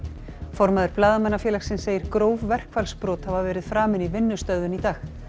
formaður Blaðamannafélagsins segir gróf verkfallsbrot hafa verið framin í vinnustöðvun í dag